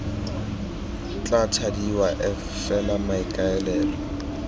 tla thadiwa f fela maikaelelo